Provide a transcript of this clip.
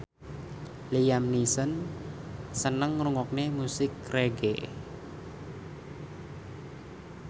Liam Neeson seneng ngrungokne musik reggae